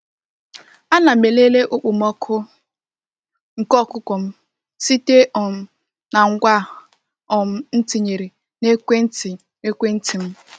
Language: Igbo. A na m elele okpomọkụ nke ọkụkọ m site um na ngwa e um tinyere na ekwenti ekwenti m.